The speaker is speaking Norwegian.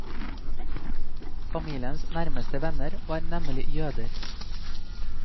Familiens nærmeste venner var nemlig jøder.